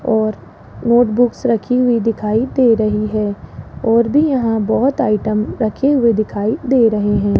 और नोटबुक्स रखी हुई दिखाई दे रही है और भी यहां बहोत आइटम रखे हुए दिखाई दे रहे हैं।